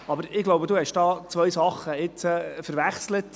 Aber, ich glaube, Sie haben hier nun zwei Dinge verwechselt.